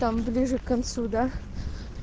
там ближе к концу да